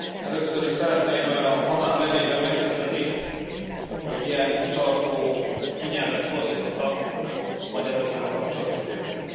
Először is szeretném a hazám nevében megköszönni, hogy ilyen kitartó figyelmet fordítottak a Magyarországgal kapcsolatos ügyekre.